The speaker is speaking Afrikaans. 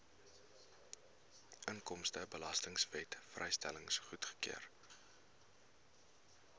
inkomstebelastingwet vrystelling goedgekeur